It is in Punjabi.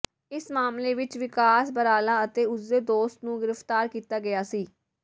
ਇਸ ਮਾਮਲੇ ਵਿੱਚ ਵਿਕਾਸ ਬਰਾਲਾ ਅਤੇ ਉਸਦੇ ਦੋਸਤ ਨੂੰ ਗ੍ਰੀਫਤਾਰ ਕੀਤਾ ਗਿਆ ਸੀ